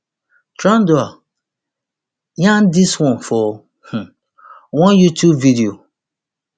trudeau yarn dis one for um one youtube video